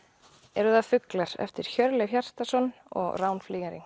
eru það fuglar eftir Hjörleif Hjartarson og Rán